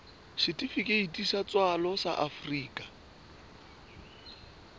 setifikeiti sa tswalo sa afrika